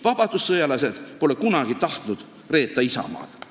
Vabadussõjalased pole kunagi tahtnud reeta isamaad.